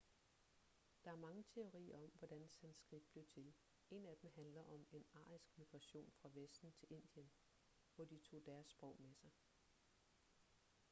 der er mange teorier om hvordan sanskrit blev til en af dem handler om en arisk migration fra vesten til indien hvor de tog deres sprog med sig